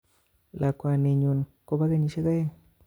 Lakwani nyun Kobo kenyisiek aeng